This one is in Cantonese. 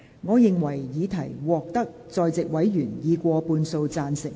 我認為議題獲得在席委員以過半數贊成。